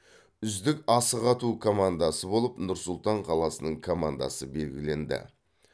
үздік асық ату командасы болып нұр сұлтан қаласының командасы белгіленді